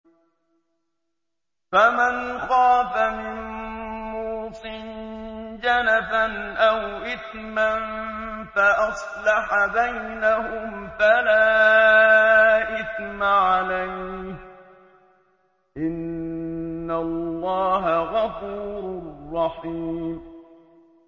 فَمَنْ خَافَ مِن مُّوصٍ جَنَفًا أَوْ إِثْمًا فَأَصْلَحَ بَيْنَهُمْ فَلَا إِثْمَ عَلَيْهِ ۚ إِنَّ اللَّهَ غَفُورٌ رَّحِيمٌ